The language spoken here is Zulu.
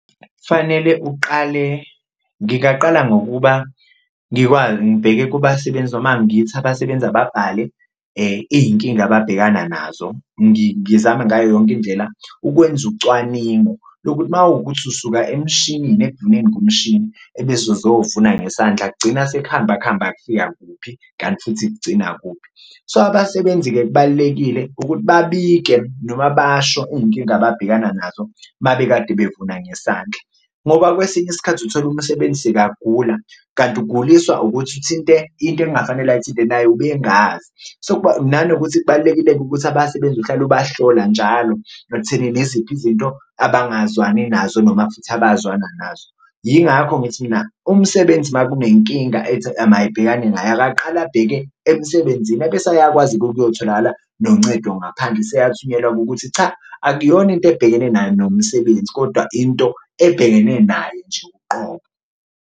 Fanele uqale, ngingaqala ngokuba ngibheke kubasebenzi noma ngithi abasebenzi ababhale iy'nkinga ababhekana nazo, ngizame ngayo yonke indlela ukwenza ucwaningo lokuthi uma kuwukuthi usuka emshinini ekuvuneni kumshini ebese uzovuna ngesandla kugcina sekuhamba kuhamba kufika kuphi, kanti futhi kugcina kuphi. So, abasebenzi-ke kubalulekile ukuthi babike noma basho iy'nkinga ababhekana nazo mabekade bevuna ngesandla, ngoba kwesinye isikhathi uthola umsebenzi sekagula kanti uguliswa ukuthi uthinte into engafanele ayithinte naye ubengazi. So, kubalulekile-ke ukuthi abasebenzi uhlale ubahlola njalo ekuthenini iziphi izinto abangazwani nazo noma futhi abazwana nazo, yingakho ngithi mina umsebenzi uma kunenkinga ethi mayibhekane naye akaqale abheke emsebenzini ebese ayakwazi ukuyotholakala noncedo ngaphandle. Useyathunyelwa ngokuthi cha akuyona into ebhekene naye nomsebenzi kodwa into ebhekene naye nje uqobo.